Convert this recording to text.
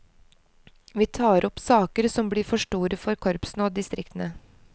Vi tar opp saker som blir for store for korpsene og distriktene.